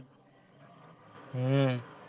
હમ